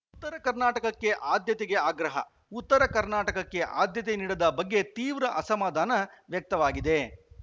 ಉತ್ತರ ಕರ್ನಾಟಕಕ್ಕೆ ಆದ್ಯತೆಗೆ ಆಗ್ರಹ ಉತ್ತರ ಕರ್ನಾಟಕಕ್ಕೆ ಆದ್ಯತೆ ನೀಡದ ಬಗ್ಗೆ ತೀವ್ರ ಅಸಮಧಾನ ವ್ಯಕ್ತವಾಗಿದೆ